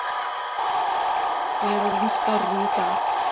Ég er orðinn skárri í dag.